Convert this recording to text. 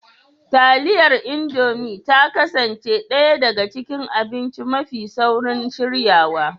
Taliyar Indomi ta kasance ɗaya daga cikin abinci mafi saurin shiryawa